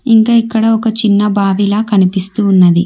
ఇంకా ఇక్కడ ఒక చిన్న బావిలా కనిపిస్తూ ఉన్నది.